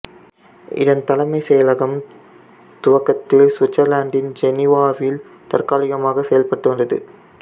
இதன் தலைமை செயலகம் துவக்கத்தில் இசுவிட்சர்லாந்தின் ஜெனீவாவில் தற்காலிகமாக செயல்பட்டு வந்தது